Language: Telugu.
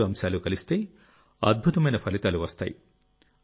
ఈ మూడు అంశాలు కలిస్తే అద్భుతమైన ఫలితాలు వస్తాయి